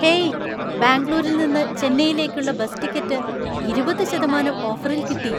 Hey! ബാംഗ്ലൂരിൽ നിന്ന് ചെന്നൈയിലേക്കുള്ള ബസ് ടിക്കറ്റ് ഇരുപത് ശതമാനം ഓഫറില്‍ കിട്ടി.